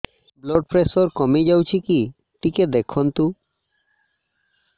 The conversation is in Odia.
ବ୍ଲଡ଼ ପ୍ରେସର କମି ଯାଉଛି କି ଟିକେ ଦେଖନ୍ତୁ